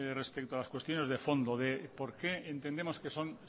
respecto a las cuestiones de fondo de por qué entendemos que son